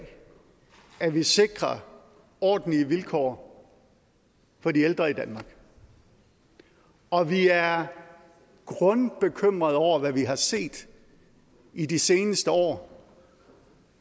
at vi sikrer ordentlige vilkår for de ældre i danmark og vi er grundbekymret over hvad vi har set i de seneste år